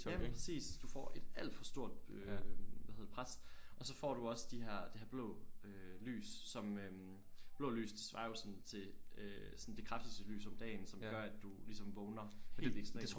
Ja præcis du får et alt for stort øh hvad hedder det pres og så får du også de her det her blå øh lys som øh blå lys det svarer jo sådan til øh sådan det kraftigste lys om dagen som gør at du ligesom vågner helt ekstremt